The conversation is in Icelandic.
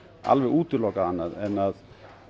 alveg útilokað annað en að